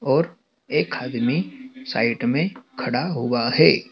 और एक आदमी साइड में खड़ा हुआ है।